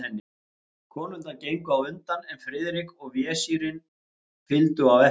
Konurnar gengu á undan, en Friðrik og vesírinn fylgdu á eftir.